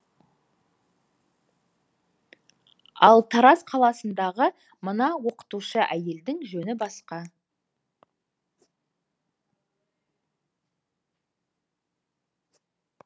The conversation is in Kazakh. ал тараз қаласындағы мына оқытушы әйелдің жөні басқа